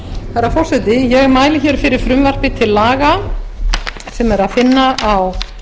herra forseti ég mæli hér fyrir frumvarpi til laga sem er að finna á